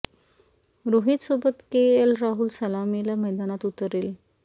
रोहित सोबत K L Rahul सलामीला मैदानात उतरेल